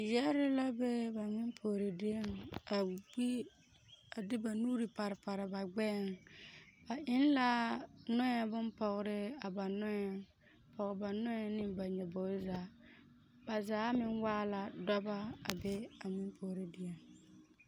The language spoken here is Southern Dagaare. Yɛre la be ba ŋmempuori dieŋ a gbi a de ba nuuri pare pare ba gbɛɛŋ, ba eŋ la nɔɛ bompɔgere a ba nɔɛŋ a pɔge ba nɔɛ ne la nyobobo zaa ba zaa meŋ waa la dɔbɔ a be a ŋmempuori dieŋ.